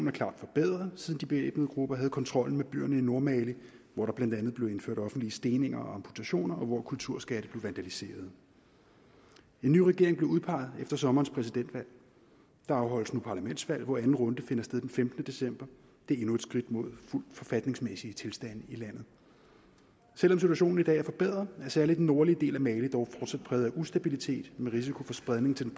er klart forbedret siden de bevæbnede grupper havde kontrollen med byerne i nordmali hvor der blandt andet blev indført offentlige steninger og amputationer og hvor kulturskatte blev vandaliseret en ny regering blev udpeget efter sommerens præsidentvalg der afholdes nu parlamentsvalg hvor anden runde finder sted den femtende december det er endnu et skridt mod fuldt forfatningsmæssige tilstande i landet selv om situationen i dag er forbedret er særlig den nordlige del af mali dog fortsat præget af ustabilitet med risiko for spredning til